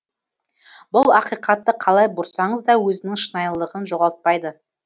бұл ақиқатты қалай бұрсаңыз да өзінің шынайылығын жоғалтпайды